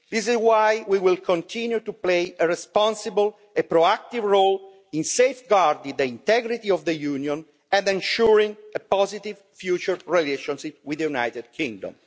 This is why we will continue to play a responsible and proactive role in safeguarding the integrity of the Union and ensuring a positive future relationship with the United Kingdom.